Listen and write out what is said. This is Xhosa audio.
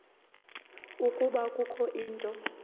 ukuba kukho into